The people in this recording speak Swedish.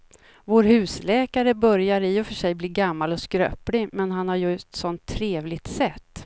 Vår husläkare börjar i och för sig bli gammal och skröplig, men han har ju ett sådant trevligt sätt!